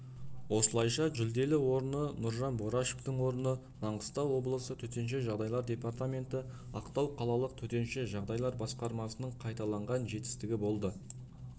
осылайша жүлделі орыны нұржан борашевтың орны маңғыстау облысы төтенше жағдайлар департаменті ақтау қалалық төтенше жағдайлар басқармасының қайталанған жетістігі болды